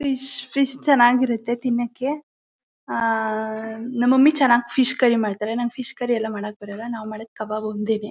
fish fish ಚನಾಗಿರತ್ತೆ ತಿನ್ನಕ್ಕೆ ಆ ನಮ್ ಮಮ್ಮಿ ಚನ್ನಾಗಿ ಫಿಶ್ ಕರ್ರಿ ಮಾಡ್ತಾರೆ ನಂಗ್ ಫಿಶ್ ಕರ್ರಿ ಎಲ್ಲ ಮಾಡಕ್ ಬರಲ್ಲ ನಾವ್ ಮಾಡದ್ ಖಬಾಬ್ ಒಂದೇನೆ